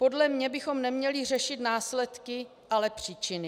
Podle mě bychom neměli řešit následky, ale příčiny.